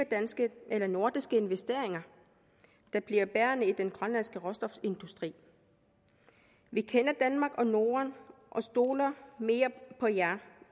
danske eller nordiske investeringer der bliver bærende i den grønlandske råstofindustri vi kender danmark og norden og stoler mere på jer